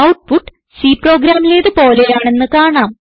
output C പ്രോഗ്രാമിലേത് പോലെയാണെന്ന് കാണാം